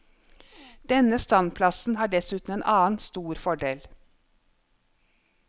Denne standplassen har dessuten en annen stor fordel.